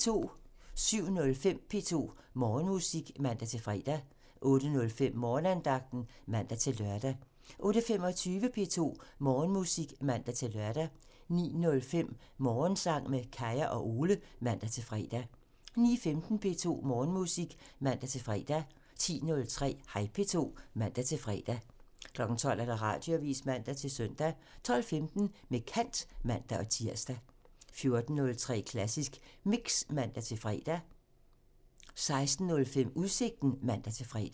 07:05: P2 Morgenmusik (man-fre) 08:05: Morgenandagten (man-lør) 08:25: P2 Morgenmusik (man-lør) 09:05: Morgensang med Kaya og Ole (man-fre) 09:15: P2 Morgenmusik (man-fre) 10:03: Hej P2 (man-fre) 12:00: Radioavisen (man-søn) 12:15: Med kant (man-tir) 14:03: Klassisk Mix (man-fre) 16:05: Udsigten (man-fre)